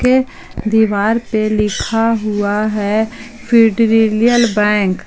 दीवार पे लिखा हुआ है फीडरिलियल बैंक।